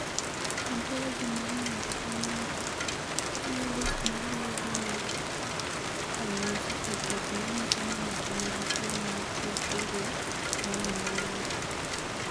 "Ontologi mar ng’ato ka ng’ato chiwo list ma luwogi mag ranyisi kod gik ma nyiso ni ng’ato nigi tuwo mar porfiria ma onyuolego."